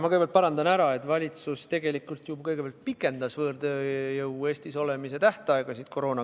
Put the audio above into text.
Ma kõigepealt parandan, et valitsus ju pikendas koroonakriisi ajal võõrtööjõu Eestis olemise tähtaegasid.